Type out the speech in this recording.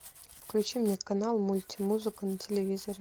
включи мне канал мультимузыка на телевизоре